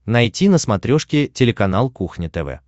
найти на смотрешке телеканал кухня тв